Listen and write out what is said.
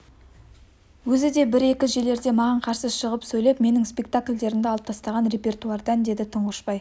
өзі де бір-екі жерлерде маған қарсы шығып сөйлеп менің спектакльдерімді алып тастаған репертуардан деді тұңғышбай